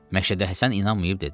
Məşədə Həsən inanmayıb dedi: